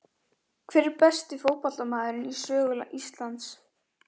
Hver er besti fótboltamaðurinn í sögu Íslands?